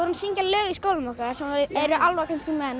syngja lög í skólanum sem var eru álfar kannski menn og